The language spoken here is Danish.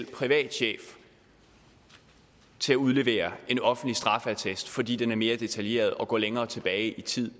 privat chef til at udlevere en offentlig straffeattest fordi den er mere detaljeret og går længere tilbage i tid